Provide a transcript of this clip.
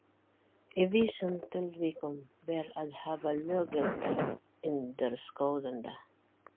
Í vissum tilvikum ber að hafa löggiltan endurskoðanda.